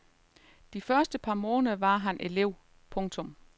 De første par måneder var han elev. punktum